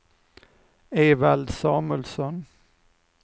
Evald Samuelsson